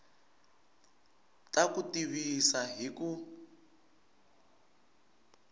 ta ku tivisa hi ku